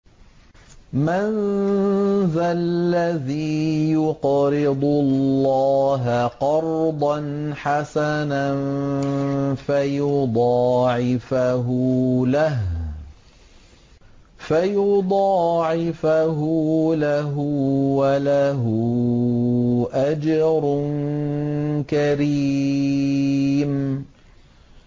مَّن ذَا الَّذِي يُقْرِضُ اللَّهَ قَرْضًا حَسَنًا فَيُضَاعِفَهُ لَهُ وَلَهُ أَجْرٌ كَرِيمٌ